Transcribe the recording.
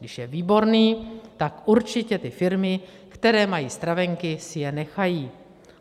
Když je výborný, tak určitě ty firmy, které mají stravenky, si je nechají.